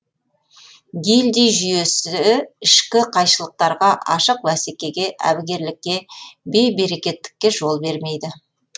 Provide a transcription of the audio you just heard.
гильдий жүйесі ішкі қайшылықтарға ашық бәсекеге әбігерлікке бей берекеттікке жол бермейді